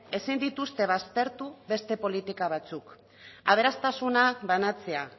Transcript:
ezin dituzte baztertu beste politika batzuk aberastasuna banatzea